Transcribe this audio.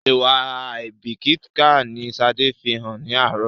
Ìwà àìbíkíkà ni Sade fí hàn ní àárọ̀